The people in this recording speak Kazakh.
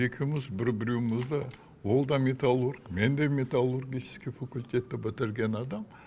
екеуіміз бір біреуімізді ол да металлург мен да металлургический факультетті бітірген адам